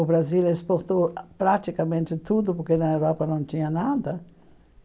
O Brasil exportou praticamente tudo, porque na Europa não tinha nada.